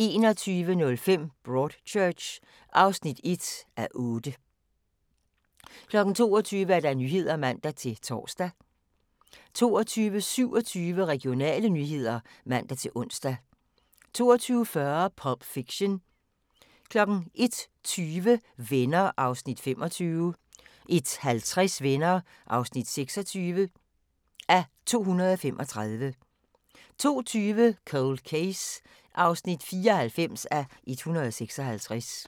21:05: Broadchurch (1:8) 22:00: Nyhederne (man-tor) 22:27: Regionale nyheder (man-ons) 22:40: Pulp Fiction 01:20: Venner (25:235) 01:50: Venner (26:235) 02:20: Cold Case (94:156)